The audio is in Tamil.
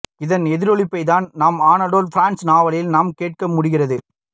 இதன் எதிரொலிப்பைத் தான் அனடோல் பிரான்ஸ் நாவலில் நாம் கேட்க முடிகிறது